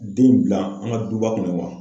Den bila an ka duba kɔnɔ wa?